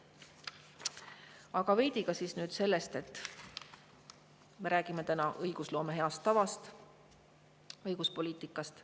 Aga veidi ka sellest, et me räägime täna õigusloome heast tavast, õiguspoliitikast.